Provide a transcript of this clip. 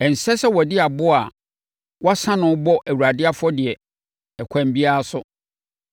Ɛnsɛ sɛ wɔde aboa a wɔasa no bɔ Awurade afɔdeɛ ɛkwan biara so.